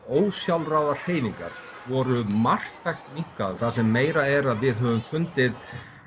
ósjálfráðar hreyfingar voru marktækt minnkaðar það sem meira er að við höfum fundið